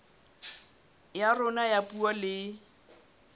ya rona ya puo le